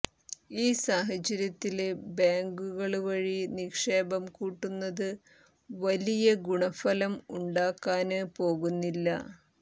ഈ സാഹചര്യത്തില് ബേങ്കുകള് വഴി നിക്ഷേപം കൂട്ടുന്നത് വലിയ ഗുണഫലം ഉണ്ടാക്കാന് പോകുന്നില്ല